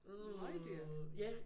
Møgdyrt!